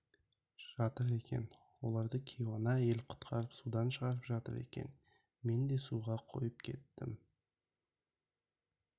жатыр екен оларды кейуана әйел құтқарып судан шығарып жатыр екен мен де суға қойып кеттім